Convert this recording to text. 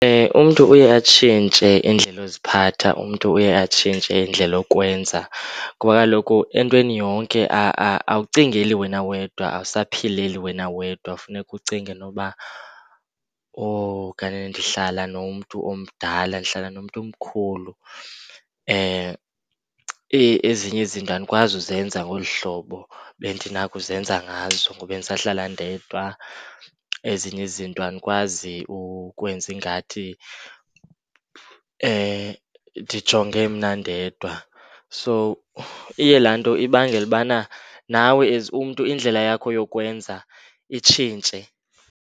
Umntu uye atshintshe indlela yoziphatha, umntu uye atshintshe indlela yokwenza. Ngoba kaloku entweni yonke awucingeli wena wedwa, awusayaphilele wena wedwa. Funeka ucinge noba oh kanene, ndihlala nomntu omdala, ndihlala nomntu omkhulu. Eyi, ezinye izinto andikwazi uzenza ngolu hlobo bendinakuzenza ngazo ngoku bendisahlala ndedwa. Ezinye izinto andikwazi ukwenza ingathi ndijonge mna ndedwa. So, iye laa nto ibangele ubana nawe as umntu indlela yakho yokwenza itshintshe.